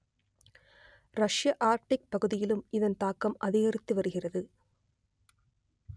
ரஷ்ய ஆர்க்டிக் பகுதியிலும் இதன் தாக்கம் அதிகரித்து வருகிறது